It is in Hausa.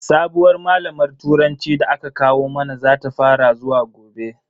Sabuwar malamar turanci da aka kawo mana zata fara zuwa gobe.